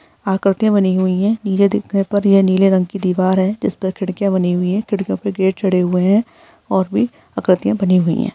आकृतिया बनी हुई है नीले देख पर ये नीले रंग की दिवार है जिस पर खिड़किया बनी हुई है खिड़कियों पे गेट चढ़े हुए है और भी आकृतियाँ बनी हुई है।